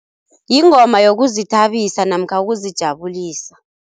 Yingoma yokuzithabisa namkha ukuzijabulisa.